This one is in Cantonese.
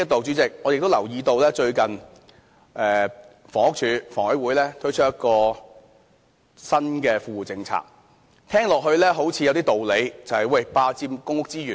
主席，我亦留意到最近房屋署、香港房屋委員會推出了一項新的富戶政策，聽起來好像有一些道理。